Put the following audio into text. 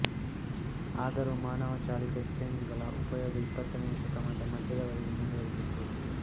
ಆದರೂ ಮಾನವಚಾಲಿತ exchange ಗಳ ಉಪಯೋಗ ಇಪ್ಪತ್ತನೆಯ ಶತಮಾನದ ಮಧ್ಯದ ವರೆಗೆ ಮುಂದುವರಿದಿತು